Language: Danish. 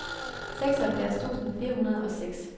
seksoghalvfjerds tusind fire hundrede og seks